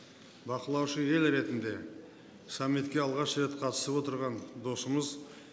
бақылаушы ел ретінде саммитке алғаш рет қатысып отырған досымыз